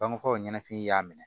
Bangeko ɲɛnafin y'a minɛ